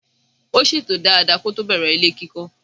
Ó ṣètò dada kótó bẹ̀rẹ̀ ilé kíkọ́.